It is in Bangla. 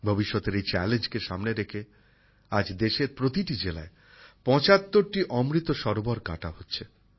ভবিষ্যতের এই চ্যালেঞ্জকে সামনে রেখে আজ দেশের প্রতিটি জেলায় ৭৫টি অমৃত সরোবর কাটা হচ্ছে